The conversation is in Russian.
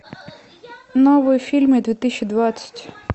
новые фильмы две тысячи двадцать